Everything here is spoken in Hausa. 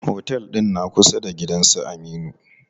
Otel ɗin na kusa da gidan su Aminu.